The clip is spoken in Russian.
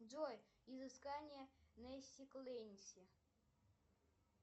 джой изыскания нэнси клэнси